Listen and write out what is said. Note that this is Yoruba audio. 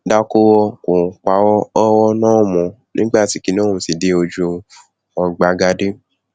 dákúrò kò parọ ọrọ náà mọ nígbà tí kinní ọhún ti dé ojú ọgbagadè